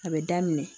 A bɛ daminɛ